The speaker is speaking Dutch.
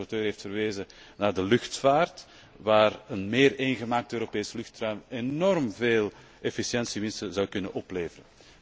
De rapporteur heeft verwezen naar de luchtvaart, waar een meer eengemaakt Europees luchtruim enorm veel efficiëntiewinst zou kunnen opleveren.